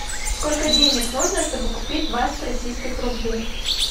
сколько денег нужно чтобы купить двадцать российских рублей